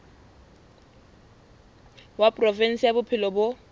wa provinse ya bophelo bo